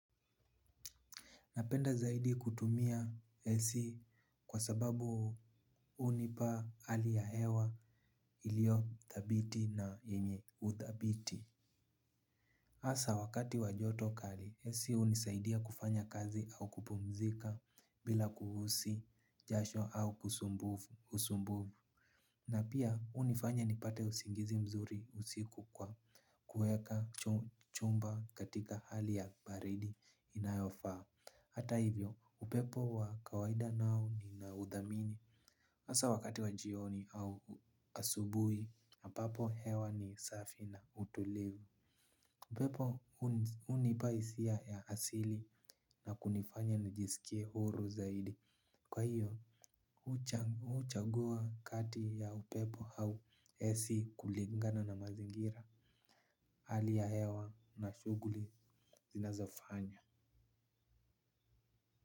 Napenda zaidi kutumia ac kwa sababu hunipa hali ya hewa ilio thabiti na yenye uthabiti. Hasa wakati wa joto kali, ac hunisaidia kufanya kazi au kupumzika bila kuhisi jasho au usumbufu. Na pia hunifanya nipate usingizi mzuri usiku kwa kuweka chumba katika hali ya baridi inayofaa. Hata hivyo, upepo wa kawaida nao ni nauthamini hasa wakati wa jioni au asubuhi, ambapo hewa ni safi na utulivu. Upepo hunipa hisia ya asili na kunifanya na jisikie huru zaidi. Kwa hiyo, huchagua kati ya upepo au ac kulingana na mazingira. Hali ya hewa na shughuli zinazofanya.